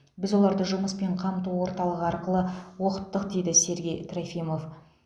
біз оларды жұмыспен қамту орталығы арқылы оқыттық дейді сергей трофимов